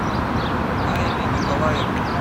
найле николаевне